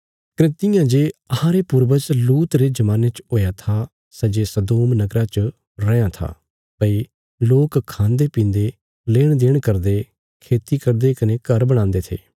कने तियां जे अहांरे पूर्वज लूत रे जमाने च हुया था सै जे सदोम नगरा च रैआं था भई लोक खान्दे पीन्दे लेण देण करदे खेती करदे कने घर बणांदे थे